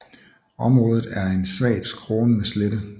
Området er en svagt skrånende slette